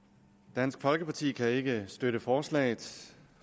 dansk folkeparti kan ikke støtte forslaget